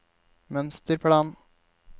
mønsterplan